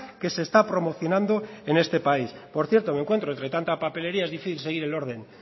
que se está promocionando en este país por cierto me encuentro entre tanta papelería es difícil seguir el orden